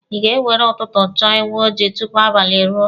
Ị ga-ewere ụtụtụ chọọ ewu ojii tupu abalị eruo.